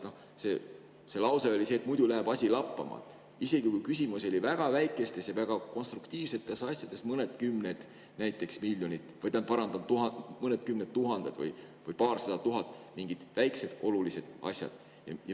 Lause, mis öeldi, oli see, et muidu läheb asi lappama, isegi kui küsimus oli väga väikestes ja vägagi konstruktiivsetes asjades, mõnekümnes tuhandes või paarisajas tuhandes, mingites väikestes olulistes asjades.